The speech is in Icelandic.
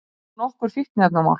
Upp komu nokkur fíkniefnamál